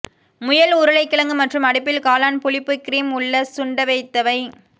முயல் உருளைக்கிழங்கு மற்றும் அடுப்பில் காளான் புளிப்பு கிரீம் உள்ள சுண்டவைத்தவை